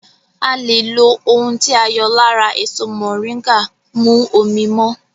À lè ohun tí a yọ lára èso mọ̀ríńgà mú omi mọ́